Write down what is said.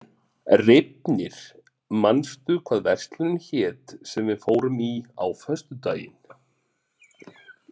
Reifnir, manstu hvað verslunin hét sem við fórum í á föstudaginn?